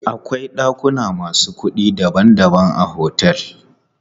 Akwai ɗakuna masu kuɗi daban daban a otel.